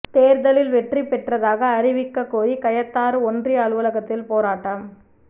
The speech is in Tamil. தோ்தலில் வெற்றி பெற்றதாக அறிவிக்கக் கோரி கயத்தாறு ஒன்றிய அலுவலகத்தில் போராட்டம்